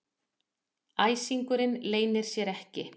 Æsingurinn leynir sér ekki.